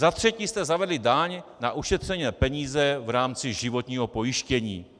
Za třetí jste zavedli daň na ušetřené peníze v rámci životního pojištění.